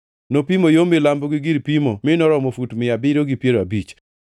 Nopimo yo milambo, gi gir pimo mi noromo fut mia abiriyo gi piero abich.